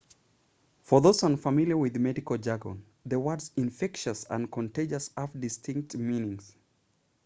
for those unfamiliar with medical jargon the words infectious and contagious have distinct meanings